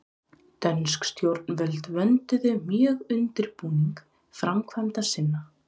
Dönsk stjórnvöld vönduðu mjög undirbúning framkvæmda sinna.